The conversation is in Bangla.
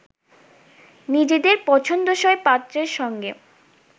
নিজেদের পছন্দসই পাত্রের সঙ্গে